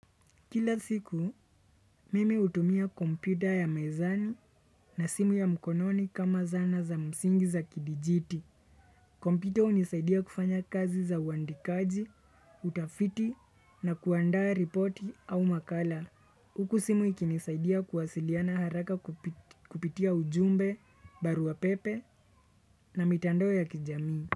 Kila siku, mimi hutumia kompyuta ya mezani na simu ya mkononi kama zana za msingi za kidijiti. Kompyuta hunisaidia kufanya kazi za uandikaji, utafiti na kuandaa ripoti au makala. Huku simu ikinisaidia kuwasiliana haraka kupitia ujumbe, barua pepe na mitandao ya kijamii.